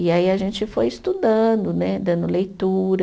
E aí a gente foi estudando né, dando leitura.